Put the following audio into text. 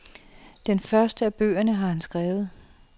Den første af bøgerne har han skrevet.